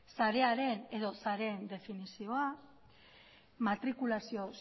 sarearen edo sareen definizioa matrikulazio